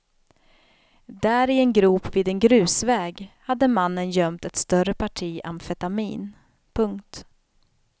Där i en grop vid en grusväg hade mannen gömt ett större parti amfetamin. punkt